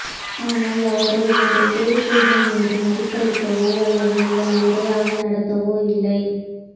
ஆனால் அவரோ எங்கள் கோரிக்கைகள் மீது மதிப்பளிக்கவோ அல்லது எங்களை முறையாக நடத்தவோ இல்லை